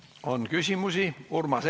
Kas on küsimusi?